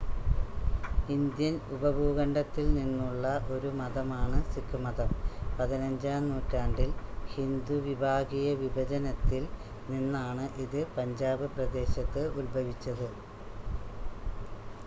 Indian ഉപഭൂഖണ്ഡത്തിൽ നിന്നുള്ള ഒരു മതമാണ് സിഖ് മതം 15-ആം നൂറ്റാണ്ടിൽ ഹിന്ദു വിഭാഗീയ വിഭജനത്തിൽ നിന്നാണ് ഇത് പഞ്ചാബ് പ്രദേശത്ത് ഉത്ഭവിച്ചത്